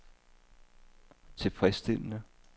tilfredsstillende